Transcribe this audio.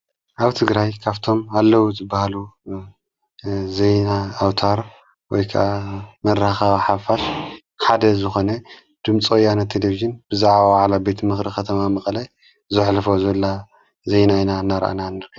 ኣብ ትግራይ ካብቶም ኣለዉ ዝበሃሉ ዘይና ኣውታር ወይካ መራኸቢ ሓፋሽ ሓደ ዝኾነ ድምፂ ወያነ ተሌብዝን ብዛዕ ዋላ ቤት ምኽሪ ኸተማ መቕለይ ዘዕለፈ ዘላ ዘይናኢና እናርአና ንርኢ።